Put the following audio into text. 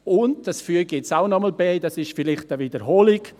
Und, das füge ich auch noch bei, das ist vielleicht eine Wiederholung: